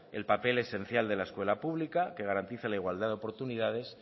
el papel esencial de la escuela pública que garantiza la igualdad de oportunidades